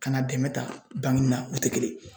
Ka na dɛmɛ ta bankeni na u tɛ kelen ye.